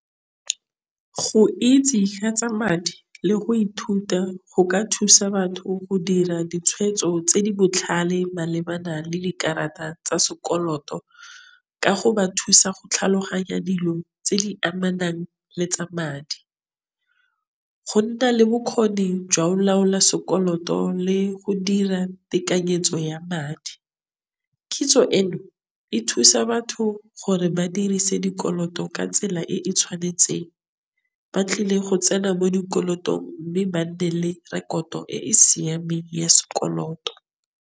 Go itse ka tsa madi le go ithuta go ka thusa batho go dira ditshwetso tse di botlhale malebana le dikarata tsa sekoloto, ka go ba thusa go tlhaloganya dilo tse di amanang le tsa madi. Go nna le bokgoni jwa go laola sekoloto le go dira tekanyetso ya madi, kitso eno e thusa batho gore ba dirise dikoloto ka tsela e e tshwanetseng, ba tlile go tsena mo dikolotong mme ba nne le rekoto e siameng ya sekoloto.